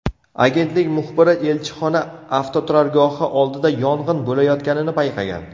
Agentlik muxbiri elchixona avtoturargohi oldida yong‘in bo‘layotganini payqagan.